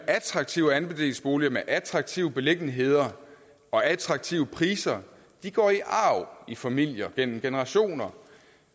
attraktive andelsboliger med attraktive beliggenheder og attraktive priser går i arv i familier gennem generationer